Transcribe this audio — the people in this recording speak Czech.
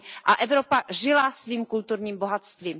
a Evropa žila svým kulturním bohatstvím.